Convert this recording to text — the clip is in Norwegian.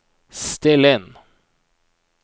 still inn